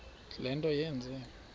le nto yenze